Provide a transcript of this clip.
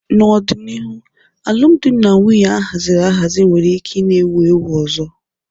N'ọdịnihu, alụmdi na nwunye a haziri ahazi nwere ike na-ewu ewu ọzọ.